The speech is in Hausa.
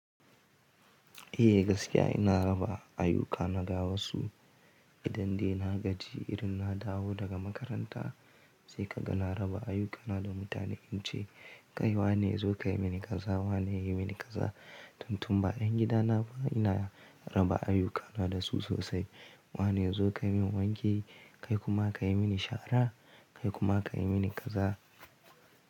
Eh gaskiya ina raba ayyukana da wasu idan dai na gaji irin na dawo daga makaranta sai ka ga na raba ayyukana da mutane in ce kai wa ne zo ka yi mini kaza? Wa ne ya yi mini kaza? Tuntun ba ƴan gidana ba ina raba ayyukana da su sosai. Wa ne ya zo ka yi min wanki? Kai kuma ka yi mini shara, kai kuma ka yi mini kaza.